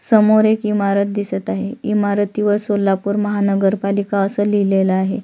समोर एक इमारत दिसत आहे इमारती वर सोलापुर महानगर पालिका अस लिहलेल आहे.